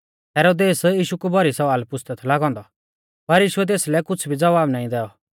हेरोदेस यीशु कु भौरी सवाल पुछ़दै थौ लागौ औन्दौ पर यीशुऐ तेसलै कुछ़ भी ज़वाब नाईं दैऔ